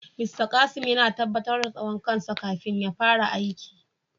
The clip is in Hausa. "Mr Kasim" yana tabatar da tsawon kan sa kafin ya fara aiki.